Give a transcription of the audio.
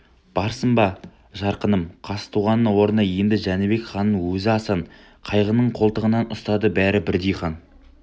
барсың ба жарқыным қазтуғанның орнына енді жәнібек ханның өзі асан қайғының қолтығынан ұстады бәрі бірдей хан